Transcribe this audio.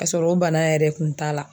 K'a sɔrɔ o bana yɛrɛ kun t'a la.